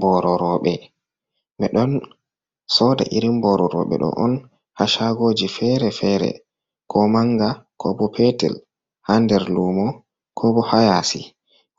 Booro rooɓe, ɓe ɗon sooda irin booro rooɓe ɗo on haa caagooji feere-feere, ko mannga ko bo peetel, haa nder luumo, ko bo haa yaasi,